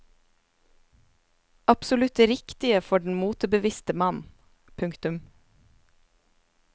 Absolutt det riktige for den motebevisste mann. punktum